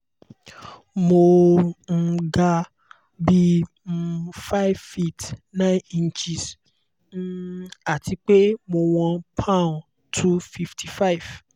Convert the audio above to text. mo um ga bi um 5 feet 9 ìnches um àti pé mo wọ́n poun 255